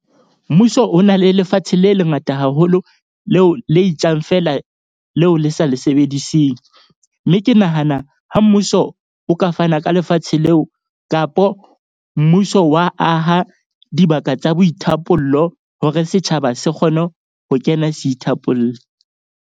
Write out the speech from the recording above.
Mmuso o na le lefatshe le lengata haholo, leo le itjang feela leo le sa le sebediseng. Mme ke nahana ha mmuso o ka fana ka lefatshe leo kapo mmuso wa aha dibaka tsa boithapollo, hore setjhaba se kgone ho kena se ithapolle.